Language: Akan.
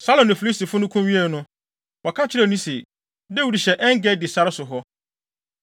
Saulo ne Filistifo no ko wiee no, wɔka kyerɛɛ no se, “Dawid hyɛ En-Gedi sare so hɔ.”